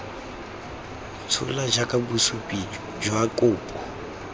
tshola jaaka bosupi jwa kopo